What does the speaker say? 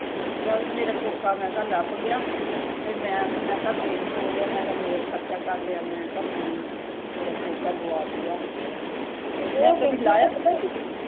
ਚੱਲ ਮੇਰਾ ਕੋਕਾ ਮੈਂ ਕਿਹਾ ਲੱਭ ਗਿਆ ਤੇ ਮੈਂ ਤੇ ਮੈਂ ਕਿਹਾ ਦਿਨ ਹੀਂ ਟੌਲ ਲਿਆ ਹੋਰ ਖਰਚਾ ਕਰ ਲਿਆ ਮੈਂ ਕਿਹਾ ਮੈਂਨੂੰ ਮੇਰਾ ਕੋਕਾ ਗੁਆਚ ਗਿਆ